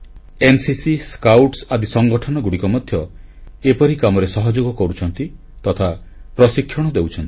NCC scout ଆଦି ସଂଗଠନଗୁଡ଼ିକ ମଧ୍ୟ ଏପରି କାମରେ ସହଯୋଗ କରୁଛନ୍ତି ତଥା ପ୍ରଶିକ୍ଷଣ ଦେଉଛନ୍ତି